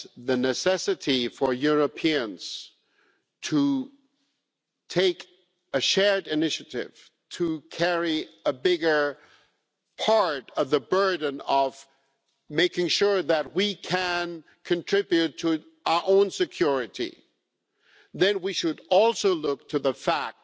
the necessity for Europeans to take a shared initiative, to carry a bigger part of the burden of making sure that we can contribute to our own security, then we should also look to the fact